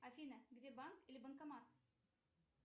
афина где банк или банкомат